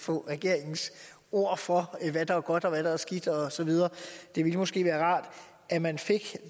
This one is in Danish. få regeringens ord for hvad der er godt og hvad der er skidt og så videre det ville måske være rart at man fik